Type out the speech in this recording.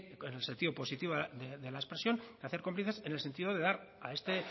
que en el sentido positivo de la expresión de hacer cómplices en el sentido de dar a este